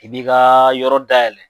I bi ka yɔrɔ dayɛlɛ.